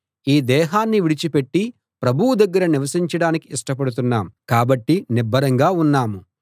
ఈ దేహాన్ని విడిచి పెట్టి ప్రభువు దగ్గర నివసించడానికి ఇష్టపడుతున్నాం కాబట్టి నిబ్బరంగా ఉన్నాం